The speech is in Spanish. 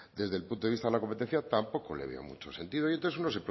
desde el punto de vista de la competencia tampoco le veo mucho sentido y entonces uno